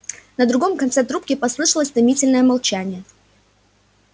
на другом конце трубки послышалось томительное молчание